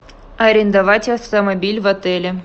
арендовать автомобиль в отеле